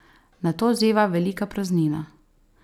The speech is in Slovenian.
Nato zeva velika praznina.